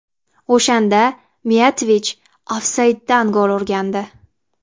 O‘shanda Miyatovich ofsayddan gol urgandi.